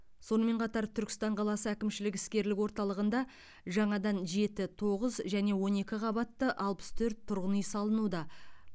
сонымен қатар түркістан қаласы әкімшілік іскерлік орталығында жаңадан жеті тоғыз және он екі қабатты алпыс төрт тұрғын үй салынуда